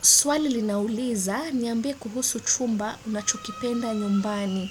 Swali linauliza niambie kuhusu chumba unachukipenda nyumbani.